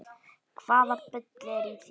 Hvaða bull er í þér?